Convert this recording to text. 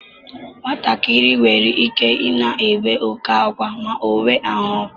Nwatakịrị nwere ike I na-ébé oke ákwa ma o nwee ahụ ọkụ.